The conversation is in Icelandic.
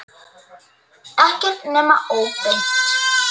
Ekki nema óbeint.